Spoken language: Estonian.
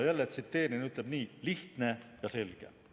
Jälle tsiteerin, ta ütleb nii: "Lihtne ja selge.